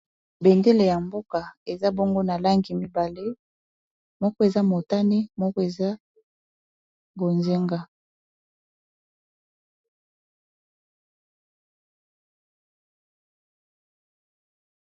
Bendele ya mboka eza bongo na langi mibale, moko eza motani moko eza bozenga.